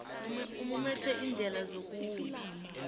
umumethe iindlela zokulawula